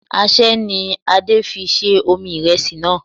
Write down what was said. Aṣẹ́ ni Olú fi ṣẹ́ omi ìrẹsì náà